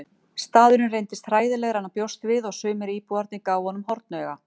Staðurinn reyndist hræðilegri en hann bjóst við og sumir íbúarnir gáfu honum hornauga.